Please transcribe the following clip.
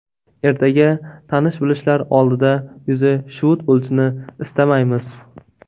Ertaga tanish-bilishlar oldida yuzi shuvut bo‘lishini istamaymiz.